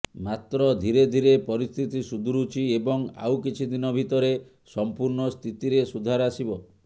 ମାତ୍ର ଧିରେ ଧିରେ ପରିସ୍ଥିତି ସୁଧୁରୁଛି ଏବଂ ଆଉ କିଛିଦିନ ଭିତରେ ସମ୍ପୂର୍ଣ୍ଣ ସ୍ଥିତିରେ ସୁଧାର ଆସିବ